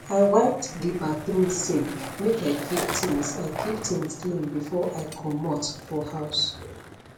i wiped de bathroom sink make i keep things i keep things clean before i commote for house